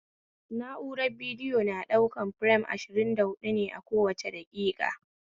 Na'urar bidiyo na ɗaukan firem ashirinda huɓɗu ne a kowa daƙiƙa